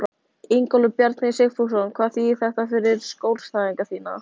Ingólfur Bjarni Sigfússon: Hvað þýðir þetta fyrir skjólstæðinga þína?